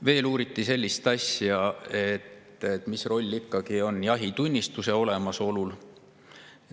Veel uuriti sellist asja, mis roll on ikkagi jahitunnistuse olemasolul.